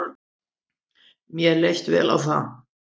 Mér leist vel á það.